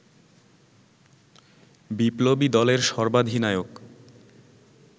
বিপ্লবী দলের সর্বাধিনায়ক